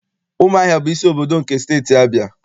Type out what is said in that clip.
Ụmụahịa bụ isi obodo nke Steeti Abịa.